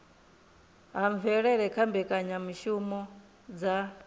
ha mvelele kha mbekanyamishumo dza